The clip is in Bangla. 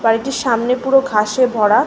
বাড়িটির সামনে পুরো ঘাসে ভরা ।